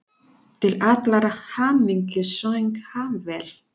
Til allrar hamingju söng hann vel!